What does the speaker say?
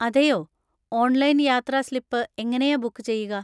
അതെയോ! ഓൺലൈൻ യാത്രാ സ്ലിപ്പ് എങ്ങനെയാ ബുക്ക് ചെയ്യുക?